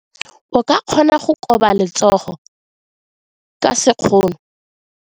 O ka kgona go koba letsogo ka sekgono.